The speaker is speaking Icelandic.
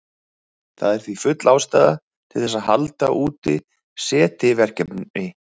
Það er því full ástæða til þess að halda úti SETI-verkefni.